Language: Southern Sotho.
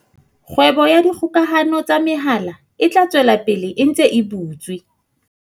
Kgwebo ka dikgokahano tsa mehala e tla tswela pele e ntse e butswe.